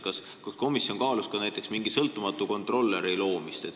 Kas komisjon kaalus ka mingi sõltumatu kontrollija asutamist?